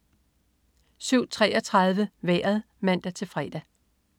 07.33 Vejret (man-fre)